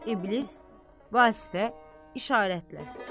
İblis Vasifə işarətlə.